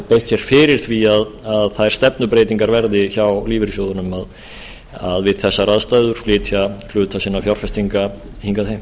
beitt sér fyrir því að þær stefnubreytingar verði hjá lífeyrissjóðunum við þessar aðstæður að flytja hluta sinna fjárfestinga hingað heim